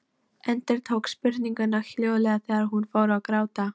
Endurtók spurninguna hljóðlega þegar hún fór að gráta.